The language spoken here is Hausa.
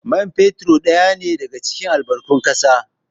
Man fetur ɗaya ne daga cikin albarkatun ƙasa